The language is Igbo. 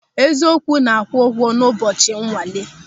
Eziokwu na-akwụ ụgwọ n'ụbọchị nwale.